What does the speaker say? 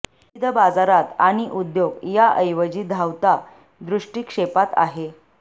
विविध बाजारात आणि उद्योग या ऐवजी धावता दृष्टीक्षेपात आहे